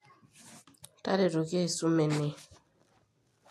taretoki aisum ene